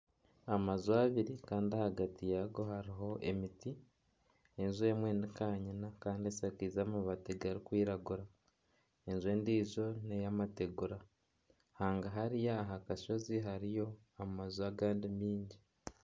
Amaju abiri kandi ahagari yaago hariho emiti, enju emwe nikanyina kandi eshakaize amabaati garikwiragura, enju endiijo n'ey'amategura, hangahariya aha kashozi hariyo amaju agandi mingi